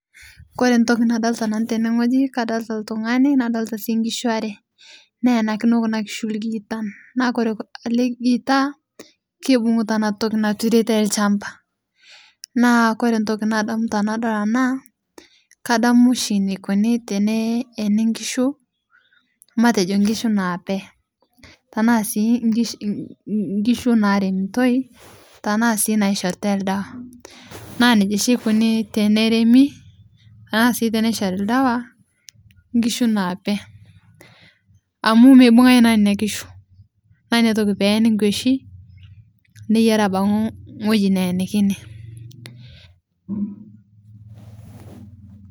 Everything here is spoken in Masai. Kore ntoki nadolita tene ng'oji kadolita ltung'ani nadolita sii ngishu are neenikino kuna ngishu lgiitan naa kore ale giita keibung'uta ana ntoki naturetai lshamba. Naa kore ntoki nadamu tanadol ana, kadamu shi nekweni teneeni ngishu matejo ngishu naape, tanaa sii ngish ngishu naremtoi tanaa sii naishoritai ldawa. Naa neja sii eikoni teneremi tanaa sii teneishori ldawa ngishu naape, amu meibung'ae naa neina ngishu naa inia toki peeni nkweshi neyeari abaki ng'oji neenikini.